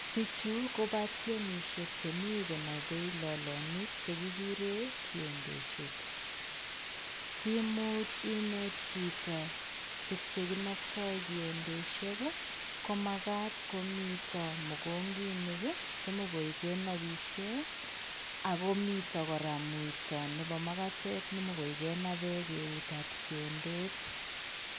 Bichu ko batiemishe che mi konabei lolotinwek che kigure koyondeshek. Siimuch ineet chito tuk chekinabtai kiyondeshek. Komagaat komito mokongenik che mugoi kenabishe. Ako mito kora muito nebo magatet negoi kenabei keutab kiyondet.